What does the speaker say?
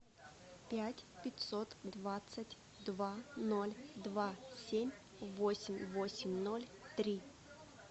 пять пятьсот двадцать два ноль два семь восемь восемь ноль три